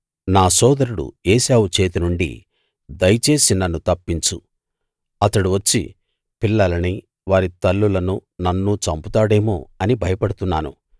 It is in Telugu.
నా సోదరుడు ఏశావు చేతి నుండి దయచేసి నన్ను తప్పించు అతడు వచ్చి పిల్లలనీ వారి తల్లులనూ నన్నూ చంపుతాడేమో అని భయపడుతున్నాను